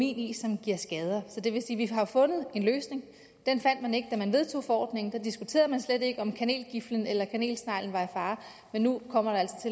i som giver skader så det vil sige har fundet en løsning den fandt man ikke da man vedtog forordningen for der diskuterede man slet ikke om kanelgiflen eller kanelsneglen var i fare men nu kommer